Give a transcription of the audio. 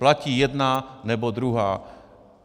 Platí jedna nebo druhá.